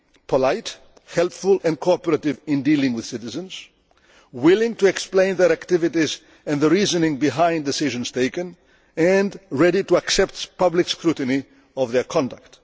to be polite, helpful and cooperative in dealing with citizens, willing to explain their activities and the reasoning behind the decisions taken, and ready to accept public scrutiny of their conduct.